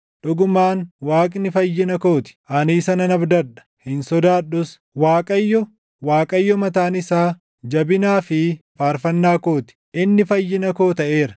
Dhugumaan Waaqni fayyina koo ti; ani isa nan abdadha; hin sodaadhus. Waaqayyo, Waaqayyo mataan isaa, jabinaa fi faarfannaa koo ti; // inni fayyina koo taʼeera.”